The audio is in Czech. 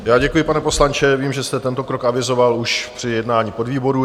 Já děkuji, pane poslanče, vím, že jste tento krok avizoval už při jednání podvýborů.